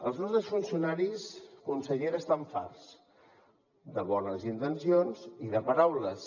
els nostres funcionaris consellera estan farts de bones intencions i de paraules